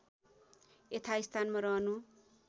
यथास्थानमा रहनु